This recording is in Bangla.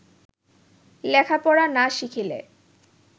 লেখাপড়া না শিখিলে